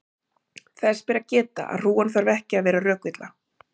þess ber að geta að hrúgan þarf ekki að vera rökvilla